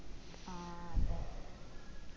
ആ അതെ